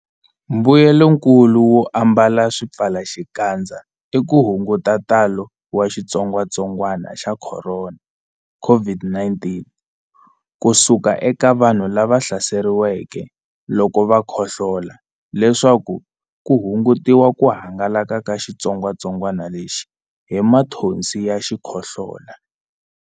Mbuyelonkulu wo ambala swipfalaxikandza i ku hunguta ntalo wa xitsongwantsongwana xa Khorona, COVID-19, ku suka eka vanhu lava hlaseriweke loko va khohlola leswaku ku hungutiwa ku hangalaka ka xitsongwatsongwana lexi hi mathonsi ya xikhohlola.